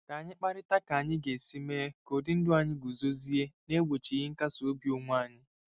Ka anyị kparịta ka anyị ga-esi mee ka ụdị ndụ anyị guzozie n'egbochighị nkasi obi onwe anyị.